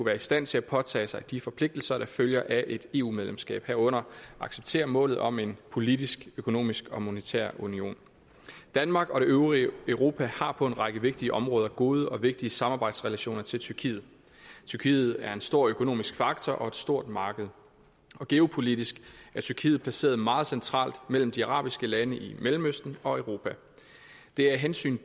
være i stand til at påtage sig de forpligtelser der følger af et eu medlemskab herunder at acceptere målet om en politisk økonomisk og monetær union danmark og det øvrige europa har på en række vigtige områder gode og vigtige samarbejdsrelationer til tyrkiet tyrkiet er en stor økonomisk faktor og et stort marked og geopolitisk er tyrkiet placeret meget centralt mellem de arabiske lande i mellemøsten og europa det er af hensyn